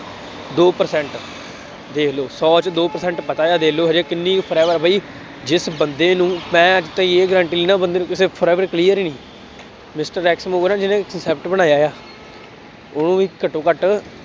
ਦੋ percent ਵੇਖ ਲਉ, ਸੌ ਚ ਦੋ percent ਪਤਾ ਹੈ, ਦੇਖ ਲਉ ਹਜੇ ਕਿੰਨੀ forever ਆ ਬਈ, ਜਿਸ ਬੰਦੇ ਨੂੰ ਮੈਂ ਕੋਈ ਇਹ ਗਾਰੰਟੀ ਨਹੀਂ ਨਾ ਬੰਦੇ ਨੂੰ ਕਿਸੇ clear ਹੀ ਨਹੀਂ। mister X mover ਜਿਹਨੇ concept ਬਣਾਇਆ ਹੈ। ਉਹ ਵੀ ਘੱਟੋ ਘੱਟ